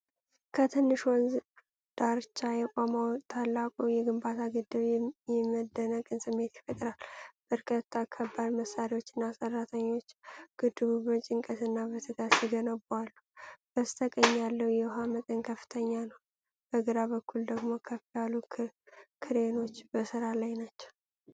ከትልቅ ወንዝ ዳርቻ የቆመው ታላቁ የግንባታ ግድብ የመደነቅን ስሜት ይፈጥራል። በርካታ ከባድ መሣሪያዎችና ሠራተኞች ግድቡን በጭንቀትና በትጋት ሲገነቡ አሉ። በስተቀኝ ያለው የውሃ መጠን ከፍተኛ ነው፤ በግራ በኩል ደግሞ ከፍ ያሉ ክሬኖች በሥራ ላይ ናቸው።